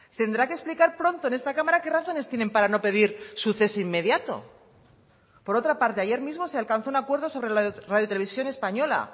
tendrá que explicar pronto en esta cámara qué razones tienen para no pedir su cese inmediato por otra parte ayer mismo se alcanzó un acuerdo sobre la radio televisión española